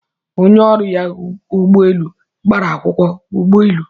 Onye ọrụ ya ụgbọ elu gbara akwụkwọ ụgbọelu